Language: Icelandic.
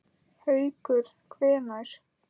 Haukur: Hvenær?